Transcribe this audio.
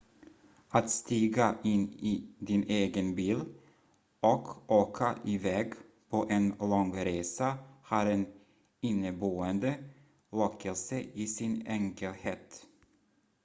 att stiga in i din egen bil och åka iväg på en lång resa har en inneboende lockelse i sin enkelhet